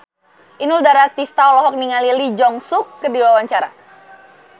Inul Daratista olohok ningali Lee Jeong Suk keur diwawancara